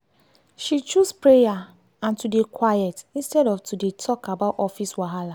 she choose prayer and to dey quiet instead of to dey talk about office wahala.